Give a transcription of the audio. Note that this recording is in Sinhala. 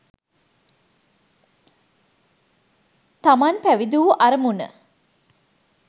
තමන් පැවිදි වූ අරමුණ